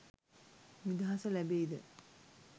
නිදහස ලැබෙයිද?